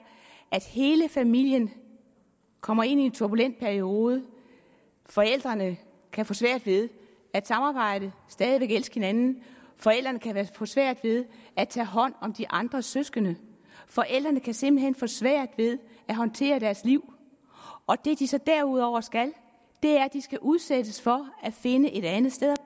at hele familien kommer ind i en turbulent periode forældrene kan få svært ved at samarbejde stadig væk elske hinanden forældrene kan få svært ved at tage hånd om de andre søskende forældrene kan simpelt hen få svært ved at håndtere deres liv og det de så derudover skal er at de skal udsættes for at finde et andet sted